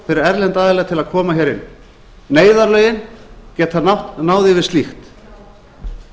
fyrir erlenda aðila til að koma hér inn neyðarlögin geta náð far slíkt